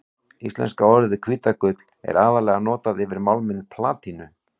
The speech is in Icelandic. Íslenska orðið hvítagull er aðallega notað yfir málminn platínu.